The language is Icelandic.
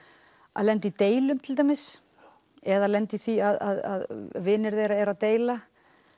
að lenda í deilum til dæmis eða lenda í því að vinir þeirra deila